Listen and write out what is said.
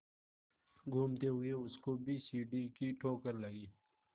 घूमते हुए उसको भी सीढ़ी की ठोकर लगी